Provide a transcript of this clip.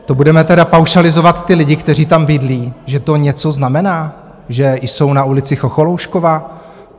To budeme tedy paušalizovat ty lidi, kteří tam bydlí, že to něco znamená, že jsou na ulici Chocholoušková?